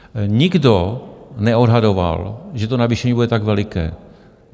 Nikdo neodhadoval, že to navýšení bude tak veliké.